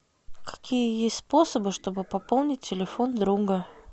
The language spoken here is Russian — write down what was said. какие есть способы чтобы пополнить телефон друга